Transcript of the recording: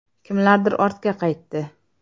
Kimlardir ortga qaytdi.